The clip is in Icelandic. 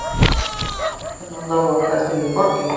um tvær og hálf milljón manna lokaðist inni í borginni